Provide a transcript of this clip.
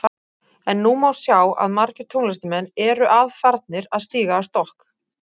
En nú má sjá að margir tónlistarmenn eru að farnir að stíga á stokk.